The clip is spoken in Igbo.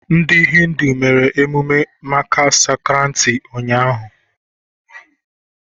Ndị Hindu mere emume Makar Sankranti ụnyaahụ.